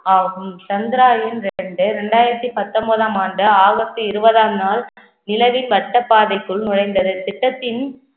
ஆகும் சந்திராயன் ரெண்டு ரெண்டாயிரத்தி பத்தொன்பதாம் ஆண்டு ஆகஸ்ட் இருபதாம் நாள் நிலவின் வட்டப் பாதைக்குள் நுழைந்தது திட்டத்தின்